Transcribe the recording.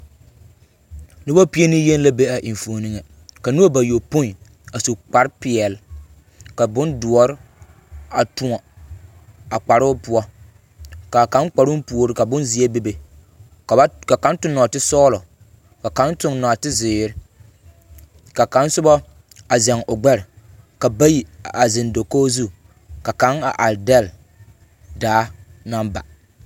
Noba pie neyeni la be a enfuoni ŋa. Ka noba bayopõi a su kpare peɛle ka bondoɔ a tõɔ a kparoo poɔ, ka a kaŋ kparoo puori ka bonazeɛ bebe ka ba t… ka kaŋ toŋ nɔɔtesɔgelɔ, ka kaŋ toŋ nɔɔte zeere, ka kaŋ soba a zeŋ o gbɛre ka bayi a zeŋ dakogi zu ka kaŋ are dɛle daa naŋ ba.